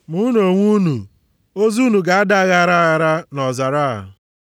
Ma unu onwe unu, ozu unu ga-ada aghara aghara nʼọzara a.